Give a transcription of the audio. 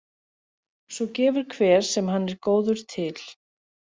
Svo gefur hver sem hann er góður til.